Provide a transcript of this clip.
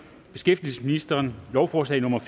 beskæftigelsesministeren lovforslag nummer